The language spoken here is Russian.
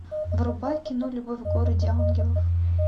врубай кино любовь в городе ангелов